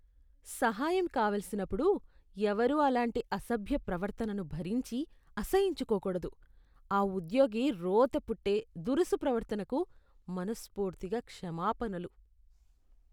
సహాయం కావలసినప్పుడు ఎవరూ అలాంటి అసభ్య ప్రవర్తనను భరించి, అసహ్యించుకో కూడదు. ఆ ఉద్యోగి రోతపుట్టే, దురుసు ప్రవర్తనకు మనస్ఫూర్తిగా క్షమాపణలు.